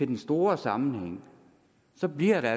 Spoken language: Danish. den store sammenhæng så bliver